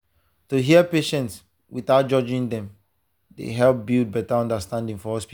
to hear patient without judging dem dey help build better understanding for hospital.